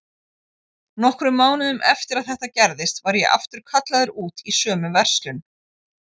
Nokkrum mánuðum eftir að þetta gerðist var ég aftur kallaður út í sömu verslun.